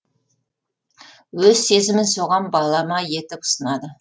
өз сезімін соған балама етіп ұсынады